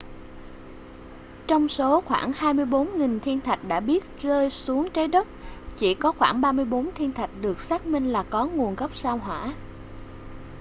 trong số khoảng 24.000 thiên thạch đã biết rơi xuống trái đất chỉ có khoảng 34 thiên thạch được xác minh là có nguồn gốc sao hỏa